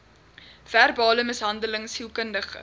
verbale mishandeling sielkundige